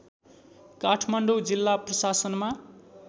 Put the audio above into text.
काठमाडौँ जिल्ला प्रशासनमा